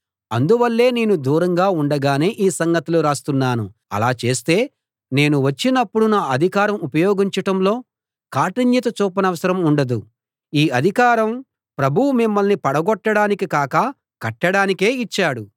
అందువల్లే నేను దూరంగా ఉండగానే ఈ సంగతులు రాస్తున్నాను అలా చేస్తే నేను వచ్చినప్పుడు నా అధికారం ఉపయోగించటంలో కాఠిన్యత చూపనవసరం ఉండదు ఈ అధికారం ప్రభువు మిమ్మల్ని పడగొట్టడానికి కాక కట్టడానికే యిచ్చాడు